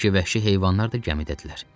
Bəlkə vəhşi heyvanlar da gəmidədirlər.